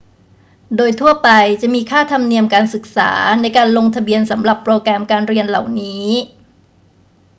โดยทั่วไปจะมีค่าธรรมเนียมการศึกษาในการลงทะเบียนสำหรับโปรแกรมการเรียนเหล่านี้